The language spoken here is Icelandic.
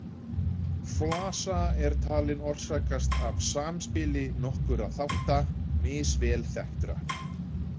Flasa er talin orsakast af samspili nokkurra þátta, misvel þekktra.